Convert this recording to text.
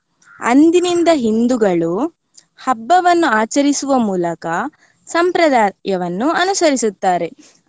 ಅಂದಿನಿಂದ ಹಿಂದುಗಳು ಹಬ್ಬವನ್ನು ಆಚರಿಸುವ ಮೂಲಕ ಸಂಪ್ರದಾಯವನ್ನು ಅನುಸರಿಸುತ್ತಾರೆ.